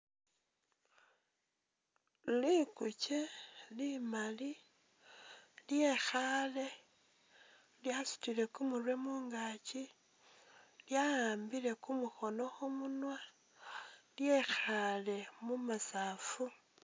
Liguuche limaali lyekhaale lyasutile kumurwe mungaaki lyaambile kumukhono khumunwa lyekhaale mumasafu.